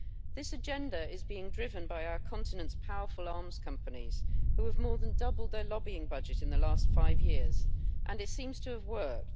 This agenda is being driven by our continent's powerful arms companies, which have more than doubled their lobbying budget in the last five years, and it seems to have worked.